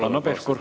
Hanno Pevkur.